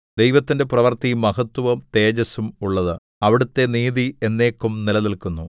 ദൈവത്തിന്റെ പ്രവൃത്തി മഹത്വവും തേജസ്സും ഉള്ളത് അവിടുത്തെ നീതി എന്നേക്കും നിലനില്ക്കുന്നു